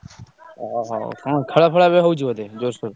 ଅ ହଉ କଣ ଖେଳଫେଳ ଏବେ ହଉଛି ବୋଧେ ଜୋରସୋର?